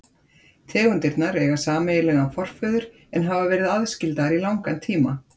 tegundirnar eiga sameiginlegan forföður en hafa verið aðskildar í langan tíma